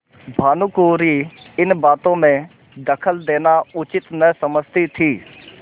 भानुकुँवरि इन बातों में दखल देना उचित न समझती थी